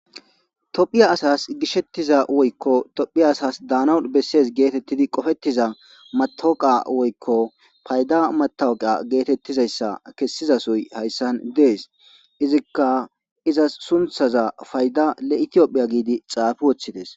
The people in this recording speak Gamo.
tophiya asas gishettiza woykko tophiya asas daanaun bessees geetettidi qofettiza matoqa woykko fayda matawuqa geetettizayssa kessizasoy hayssan dees izikka izas sunthaza payda le7itiophiya giidi xaafi woththides